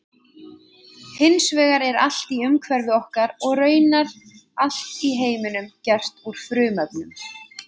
Hins vegar er allt í umhverfi okkar og raunar allt í heiminum gert úr frumefnum.